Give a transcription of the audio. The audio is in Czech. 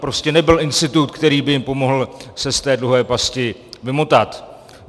Prostě nebyl institut, který by jim pomohl se z té dluhové pasti vymotat.